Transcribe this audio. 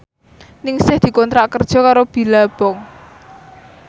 Ningsih dikontrak kerja karo Billabong